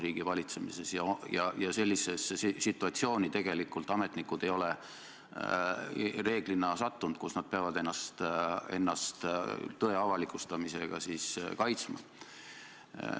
Reeglina ei ole ametnikud sellisesse situatsiooni tegelikult sattunudki, kus nad peaksid ennast tõe avalikustamise pärast kaitsma.